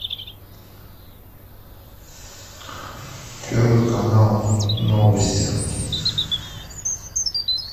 первый канал новости